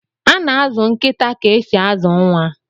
Ana azụ nkịta ka esi azụ nwa.